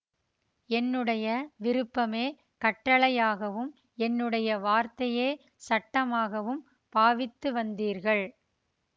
என்னுடைய விருப்பமே கட்டளையாகவும் என்னுடைய வார்த்தையே சட்டமாகவும் பாவித்து வந்தீர்கள்